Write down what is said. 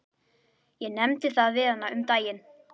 Ég nefndi það við hana um daginn.